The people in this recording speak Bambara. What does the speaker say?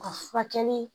U ka furakɛli